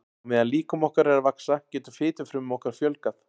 Á meðan líkami okkar er að vaxa getur fitufrumum okkar fjölgað.